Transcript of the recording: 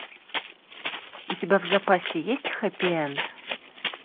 у тебя в запасе есть хэппи энд